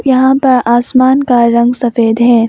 यहां पर आसमान का रंग सफेद है।